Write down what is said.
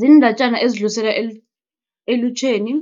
Ziindatjana ezidluliselwa elutjheni